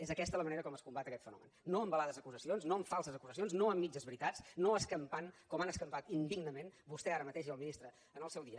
és aquesta la manera com es combat aquest fenomen no amb velades acusacions no amb falses acusacions no amb mitges veritats no escampant com han escampat indignament vostè ara mateix i el ministre en el seu dia